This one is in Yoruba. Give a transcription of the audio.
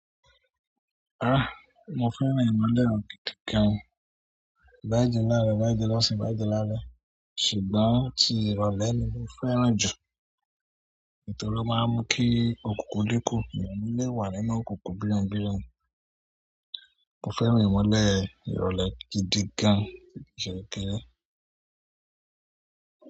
Ah! Mo fẹ́ràn ìmọ́lẹ̀ o, gan-an. Ì baa jẹ laarọ, ì baa jẹ lọ́sìn, i baa jẹ lálẹ́. Ṣùgbọ́n ti ìrọ̀lẹ́ ni mo fẹ́ràn ju, nítorí o máa ń jẹ òkùnkùn dín ku, eeyan o níí lè wà nínú òkùnkùn birimubirimu. Mo fẹ́ràn ìmọ́lẹ̀ ìrọ̀lẹ́ gidi gan jù kínní.